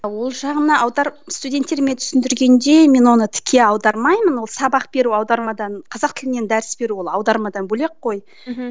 ол жағына аударып студенттеріме түсіндіргенде мен оны тіке аудармаймын ол сабақ беру аудармадан қазақ тілінен дәріс беру ол аудармадан бөлек қой мхм